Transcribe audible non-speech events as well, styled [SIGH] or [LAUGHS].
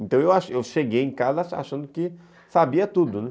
Então eu acho, eu cheguei em casa achando que sabia tudo, né? [LAUGHS]